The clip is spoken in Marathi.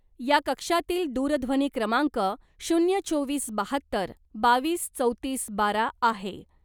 या कक्षातील दूरध्वनी क्रमांक शून्य, चोवीस, बाहत्तर, बावीस, चौतीस, बारा, आहे .